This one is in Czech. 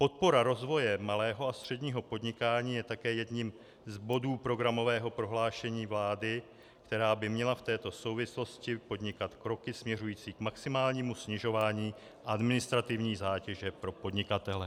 Podpora rozvoje malého a středního podnikání je také jedním z bodů programového prohlášení vlády, která by měla v této souvislosti podnikat kroky směřující k maximálnímu snižování administrativní zátěže pro podnikatele.